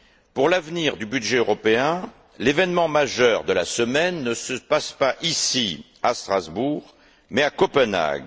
Pour l'avenir du budget européen, l'événement majeur de la semaine ne se passe pas ici, à Strasbourg, mais à Copenhague.